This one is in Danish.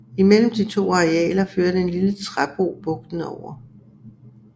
Imellem de to arealer førte en lille træbro bugten over